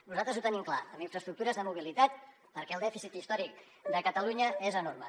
nosaltres ho tenim clar en infraestructures de mobilitat perquè el dèficit històric de catalunya és enorme